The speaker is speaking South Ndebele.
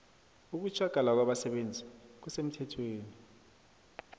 ukutjhagala kwabasebenzi kusemthethweni